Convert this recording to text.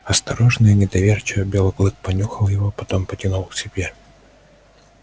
осторожно и недоверчиво белый клык понюхал его а потом потянул к себе